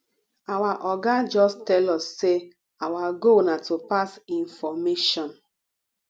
our oga just tell us say our goal na to pass information